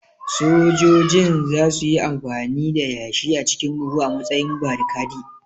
Sojojin za su yi amfani da yashi a cikin buhu a matsayin barikadi